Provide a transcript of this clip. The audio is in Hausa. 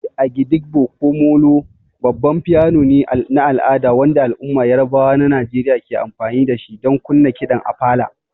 The agidigbo ko '''molo''' babban piano ne na al'ada wanda al'ummar Yarabawa na Najeriya ke amfani da shi don kunna kiɗan Apala.